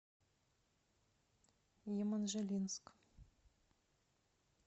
еманжелинск